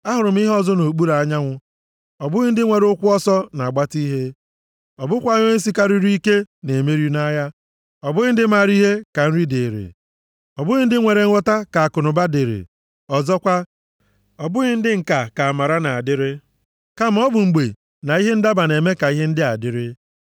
Ahụrụ ihe ọzọ nʼokpuru anyanwụ, ọ bụghị ndị nwere ụkwụ ọsọ na-agbata ihe, ọ bụkwaghị onye sikarịrị ike na-emeri nʼagha; ọ bụghị ndị maara ihe ka nri dịrị, ọ bụghị ndị nwere nghọta ka akụnụba dịrị, ọzọkwa, ọ bụghị ndị nka ka amara na-adịrị; kama ọ bụ mgbe na ihe ndaba na-eme ka ihe ndị a dịrị.